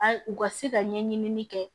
A ye u ka se ka ɲɛɲini kɛ